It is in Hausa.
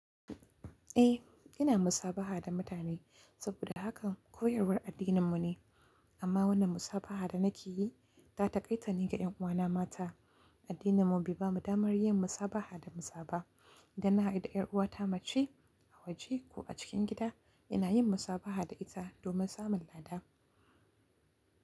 Eh, ina musabaha da mutane saboda haka koyarwar addininmu ne. Amma wannan musabaha da nake yi ta taƙaitane ga ƴan uwana mata. Addininmu bai bamu damar yin musabaha da mazaba. Idan na haɗu da ƴar uwata mace a waje ko a cikin gida, ina yin musabaha da ita domin samun lada.